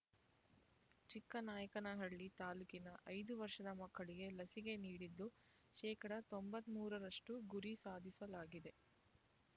ಚಿಕ್ಕನಾಯಕನಹಳ್ಳಿ ತಾಲ್ಲೂಕಿನ ಐದು ವರ್ಷದ ಮಕ್ಕಳಿಗೆ ಲಸಿಕೆ ನೀಡಿದ್ದು ಶೇಕಡಾ ತೊಂಬತ್ತ್ ಮೂರರಷ್ಟು ಗುರಿ ಸಾಧಿಸಲಾಗಿದೆ